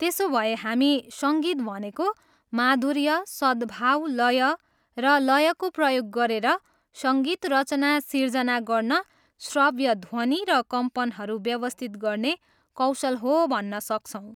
त्यसोभए हामी सङ्गीत भनेको माधुर्य, सद्भाव, लय र लयको प्रयोग गरेर सङ्गीत रचना सिर्जना गर्न श्रव्य ध्वनि र कम्पनहरू व्यवस्थित गर्ने कौशल हो भन्न सक्छौँ।